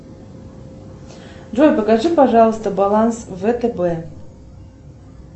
джой покажи пожалуйста баланс втб